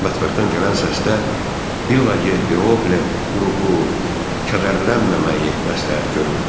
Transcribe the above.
Mətbəxdən gələn səsdə “Villa Ye Piole” qrupu “kədərlənməməyi” məsləhət görürdü.